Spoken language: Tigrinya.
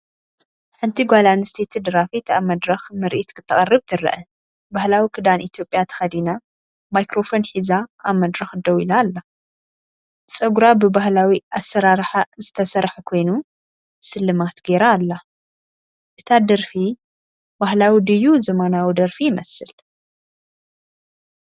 ሓንቲ ጓል ኣንስተይቲ ደራፊት ኣብ መድረኽ ምርኢት ከተቕርብ ትርአ። ባህላዊ ክዳን ኢትዮጵያ ተኸዲና ማይክሮፎን ሒዛ ኣብ መድረኽ ደው ኢላ ኣላ። ጸጉራ ብባህላዊ ኣሰራርሓ ዝተሰርሐ ኮይኑ፡ ስልማት ገይራ ኣላ። እታ ደርፊ ባህላዊ ድዩ ዘመናዊ ደርፊ ይመስል?